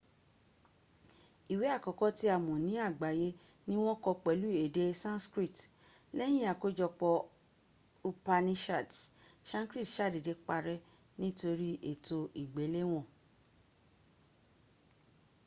iwe akọkọ ti a mọ ni agbaye ni wọn kọ pẹlu ede sanskrit lẹyin akojọpọ upanishads sanskrit sadede parẹ nitori eto igbelewon